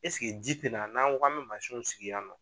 Eseke ji tɛ na n'an ko k'an bɛ mansinw sigi yan nɔ.